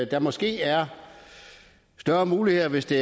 der måske er større muligheder hvis det